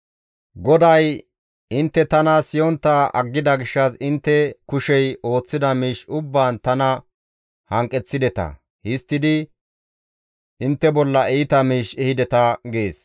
GODAY, «Intte tana siyontta aggida gishshas intte kushey ooththida miish ubbaan tana hanqeththideta; histtidi intte bolla iita miish ehideta» gees.